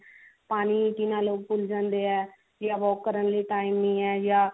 ਪਾਣੀ ਪੀਣ ਆਲੇ ਭੁੱਲ ਜਾਂਦੇ ਆ ਯਾ walk ਕਰਨ ਲਈ time ਨਹੀ ਹੈ ਯਾ